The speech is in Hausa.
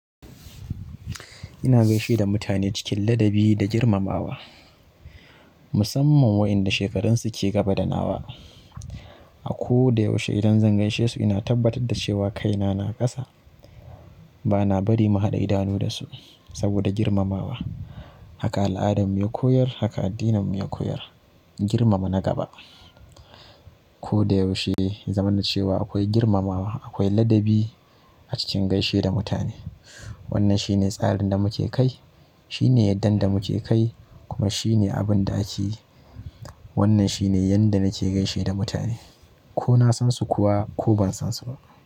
Ina gaishe da mutane cikin ladabi da girmamawa. Musamman waɗanda shekararsu ke gaba da nawa. A ko da yaushe idan zan gaishe su ina tabbatar da cewa kaina na kasa. Bana bari mu haɗa idanu da su saboda girmamawa. Haka al'adarmu ya koyar, haka addininmu ya koyar. Girmama na gaba. Ko da yaushe, zamanancewa akwai girmamawa, akwai ladabi a cikin gaishe da mutane. Wannan shine tsarin da muke kai, shine yadda da muke kai kuma shine abin da ake yi. Wannan shine yanda nake gaishe da mutane, ko na san su kuwa ko ban san su ba.